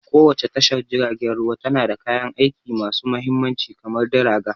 Kowace tashar jiragen ruwa tana da kayan aiki masu mahimmanci kamar dragger.